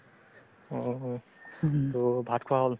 অ', to ভাত খোৱা হ'ল